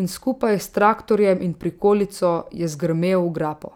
in skupaj s traktorjem in prikolico je zgrmel v grapo.